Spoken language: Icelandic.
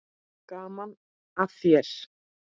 Gaman að þér!